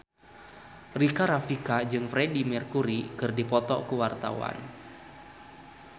Rika Rafika jeung Freedie Mercury keur dipoto ku wartawan